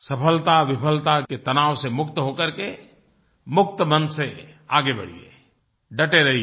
सफलताविफलता के तनाव से मुक्त हो करके मुक्त मन से आगे बढ़िये डटे रहिये